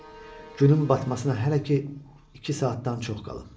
Günün batmasına hələ ki iki saatdan çox qalıb.